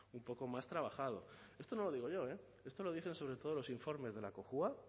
un poco más trabajado esto no lo digo yo eh esto lo dicen sobre todos los informes de la cojua